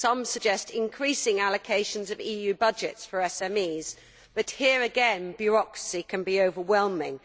Some suggest increasing allocations of EU budgets for SMEs, but here again bureaucracy can be overwhelming.